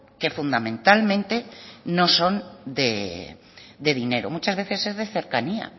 que fundamentalmente no son de dinero muchas veces es de cercanía